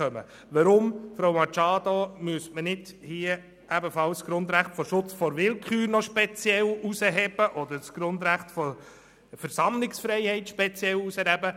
Weshalb, Grossrätin Machado, sollte man nicht auch das Grundrecht des Schutzes vor Willkür oder das Grundrecht der Versammlungsfreiheit speziell hervorheben?